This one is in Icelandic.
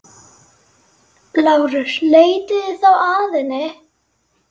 LÁRUS: Leitið þá að henni.